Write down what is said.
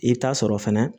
I bɛ taa sɔrɔ fɛnɛ